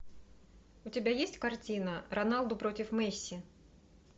у тебя есть картина роналду против месси